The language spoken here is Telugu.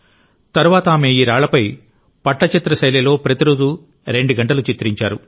తరువాత ఆమె ఈ రాళ్లపై పట్టచిత్ర శైలిలో ప్రతిరోజూ రెండు గంటలు చిత్రించారు